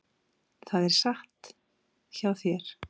Það er satt hjá þér.